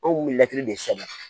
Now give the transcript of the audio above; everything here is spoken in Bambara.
Anw kun bi mɛtiri de sɛbɛ